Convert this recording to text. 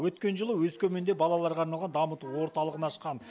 өткен жылы өскеменде балаларға арналған дамыту орталығын ашқан